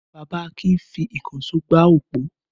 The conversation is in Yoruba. Bàbá Akin fi ìkànṣó gbá òpó?